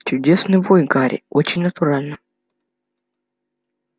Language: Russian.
чудесный вой гарри очень натурально